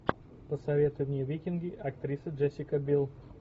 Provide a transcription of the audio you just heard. посоветуй мне викинги актриса джессика билл